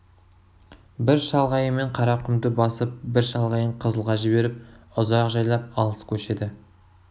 бір шалғайымен қарақұмды басып бір шалғайын қызылға жіберіп ұзақ жайлап алыс көшеді